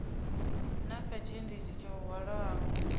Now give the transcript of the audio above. na kha tshiendisi tsho hwalaho